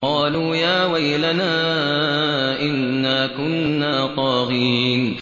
قَالُوا يَا وَيْلَنَا إِنَّا كُنَّا طَاغِينَ